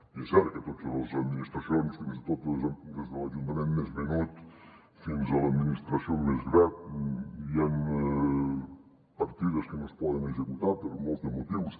i és cert que en totes les administracions des de l’ajuntament més menut fins a l’administració més gran hi han partides que no es poden executar per molts motius